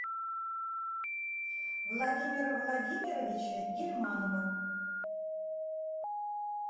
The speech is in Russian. владимира владимировича гильманова